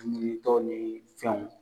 ni fɛnw